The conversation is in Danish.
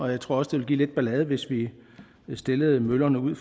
jeg tror også det ville give lidt ballade hvis vi stillede møllerne ude